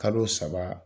Kalo saba